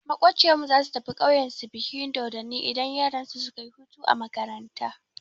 Maƙociyar mu zasu tafi ƙauyen su bikin dodonni idan yaransu suka yi hutu a makaranta.